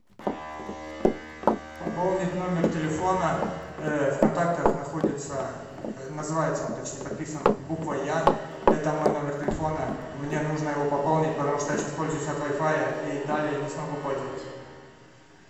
пополнить номер телефона в контактах находится называется он точнее подписан буквой я это мой номер телефона мне нужно его пополнить потому что я сейчас пользуюсь от вай фая и далее не смогу пользоваться